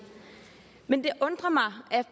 men det undrer mig